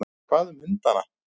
Hvað um hundana?